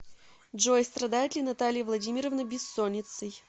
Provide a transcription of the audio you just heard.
джой страдает ли наталья вдадимировна бессонницей